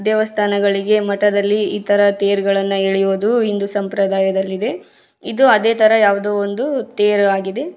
ದೇವಸ್ಥಾನಗಳಿಗೆ ಮಠದಲ್ಲಿ ಇತರ ತೇರ್ಗಳನ್ನು ಎಳೆಯೋದು ಹಿಂದೂ ಸಂಪ್ರದಾಯಗಳಲ್ಲಿ ಇದೆ ಇದು ಅದೇ ತರ ಯಾವ್ದೊ ಒಂದು ತೇರಾಗಿದೆ.